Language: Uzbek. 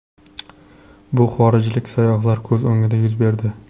Bu xorijlik sayyohlar ko‘z o‘ngida yuz berdi.